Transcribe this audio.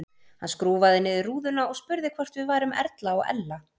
Hann skrúfaði niður rúðuna og spurði hvort við værum Erla og Ella.